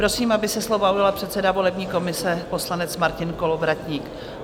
Prosím, aby se slova ujal předseda volební komise poslanec Martin Kolovratník.